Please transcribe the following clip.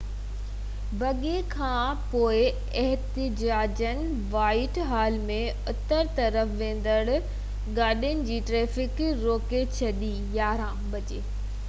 11:00 وڳي کانپوءِ احتجاجين وائيٽ حال ۾ اتر طرف ويندڙ گاڏين جي ٽرئفڪ روڪي ڇڏي